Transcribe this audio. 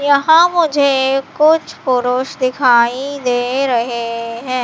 यहां मुझे कुछ पुरुष दिखाई दे रहे हैं।